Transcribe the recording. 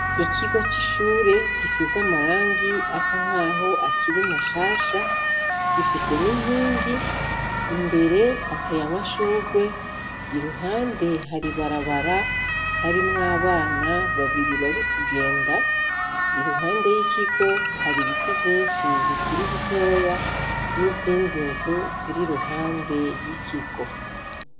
Ikigo cishure gisize amarangi asankaho akiri mashasha gifise ninkingi imbere hateye amashurwe iruhande hari ibarabara harimwo abana babiri bari kugenda iruhande yikigo hari ibiti vyinshi bikiri bitoya nizindi nzu ziriruhande yikigo